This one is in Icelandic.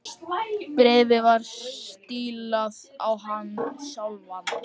Bréfið var stílað á hann sjálfan.